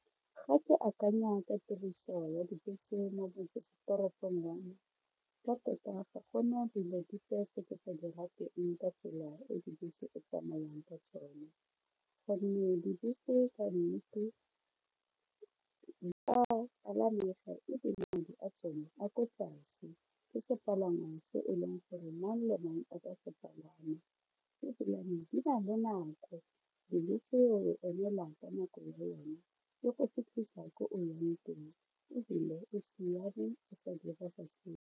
Ga ke akanya ka tiriso ya dibese mo motsesetoropong wa me ka tota ga go na selo sepe tse ke sa di rateng ka tsela e dibese o tsamayang ka tsone gonne dibese ka nnete ebile madi a tsone a ko tlase ke sepalangwa tse e leng gore mang le mang a ka se palama ebilane di na le nako bese o e emela ka nako yone e go fitlhisa ko o yang teng ebile e siame a sa direga sepe.